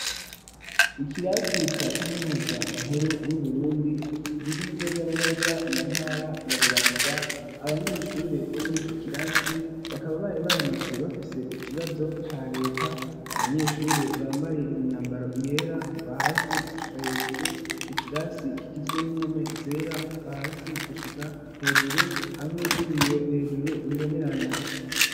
ikirasi ca kaminuza nkuru yu Burundi riri neza na neza mu ntara ya Bubanza abanyeshure bo murico kirasi bakaba bari baramutse bafise ikibazo ca leta abanyeshure bambaye imyambaro yera kuva hasi gushika hejuru ikirasi kigizwe n'impome zera kuva hasi gushika hejuru hamwe n'ibiyo hejuru bibonerana.